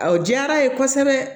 Awɔ diyara a ye kosɛbɛ